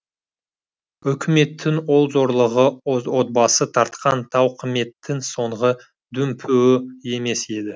өкіметтің ол зорлығы отбасы тартқан тауқыметтің соңғы дүмпуі емес еді